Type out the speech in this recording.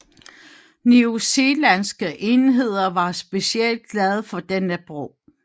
New Zealandske enheder var specielt glade for denne brug